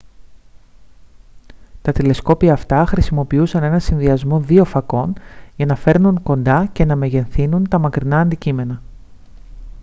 τα τηλεσκόπια αυτά χρησιμοποιούσαν έναν συνδυασμό δύο φακών για να φέρνουν κοντά και να μεγεθύνουν τα μακρινά αντικείμενα